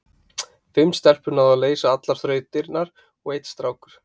fimm stelpur náðu að leysa allar þrautirnar og einn strákur